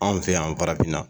An fɛ yan farafinna